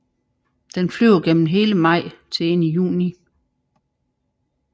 Den flyver gennem hele maj til ind i juni